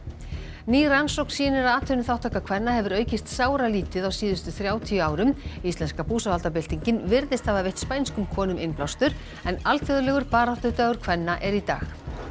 ný rannsókn sýnir að atvinnuþátttaka kvenna hefur aukist sáralítið á síðustu þrjátíu árum íslenska búsáhaldabyltingin virðist hafa veitt spænskum konum innblástur en alþjóðlegur baráttudagur kvenna er í dag